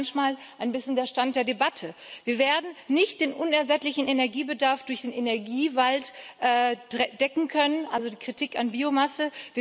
Das ist manchmal ein bisschen der Stand der Debatte. Wir werden nicht den unersättlichen Energiebedarf durch den Energiewald decken können also die Kritik an Biomasse.